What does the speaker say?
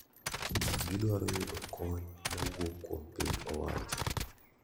Gidwaro yudo kony mawuok kuom piny owacho.